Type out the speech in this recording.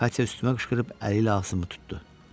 Katya üstümə qışqırıb əli ilə ağzımı tutdu.